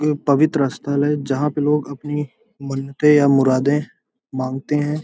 ये पवित्र स्थल है जहाँ पे लोग अपनी मन्नते या मुरादें मांगते हैं।